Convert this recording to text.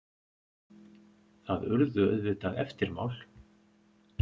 Það urðu auðvitað eftirmál.